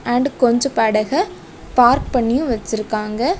And கொஞ்ஜோ படக park பண்ணியு வெச்சிருக்காங்க.